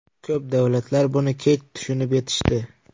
Ko‘p davlatlar buni kech tushunib yetishdi.